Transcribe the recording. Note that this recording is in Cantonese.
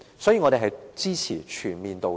所以，我們支持"全面道歉"。